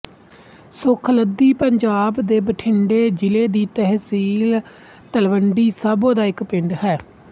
ਸੁਖਲੱਧੀ ਪੰਜਾਬ ਦੇ ਬਠਿੰਡੇ ਜ਼ਿਲ੍ਹੇ ਦੀ ਤਹਿਸੀਲ ਤਲਵੰਡੀ ਸਾਬੋ ਦਾ ਇੱਕ ਪਿੰਡ ਹੈ